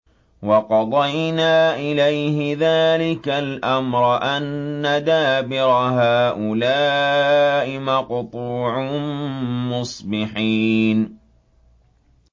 وَقَضَيْنَا إِلَيْهِ ذَٰلِكَ الْأَمْرَ أَنَّ دَابِرَ هَٰؤُلَاءِ مَقْطُوعٌ مُّصْبِحِينَ